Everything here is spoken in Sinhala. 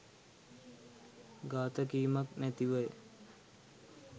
ගාථා කීමක් නැතිවය.